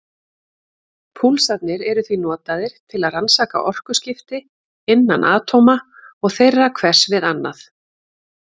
Púlsarnir eru því notaðir til að rannsaka orkuskipti innan atóma og þeirra hvers við annað.